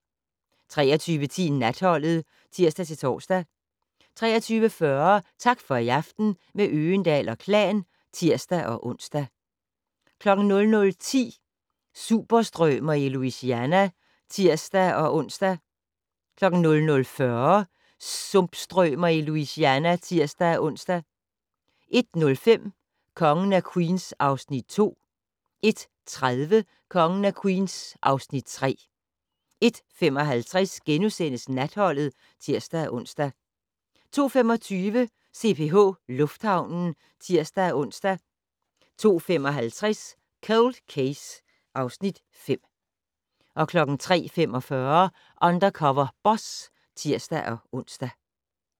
23:10: Natholdet (tir-tor) 23:40: Tak for i aften - med Øgendahl & Klan (tir-ons) 00:10: Sumpstrømer i Louisiana (tir-ons) 00:40: Sumpstrømer i Louisiana (tir-ons) 01:05: Kongen af Queens (Afs. 2) 01:30: Kongen af Queens (Afs. 3) 01:55: Natholdet *(tir-ons) 02:25: CPH Lufthavnen (tir-ons) 02:55: Cold Case (Afs. 5) 03:45: Undercover Boss (tir-ons)